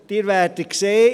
Sie werden sehen: